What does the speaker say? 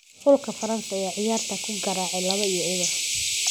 Xulka France ayaa ciyaarta ku garaacay laawo iyo ebeer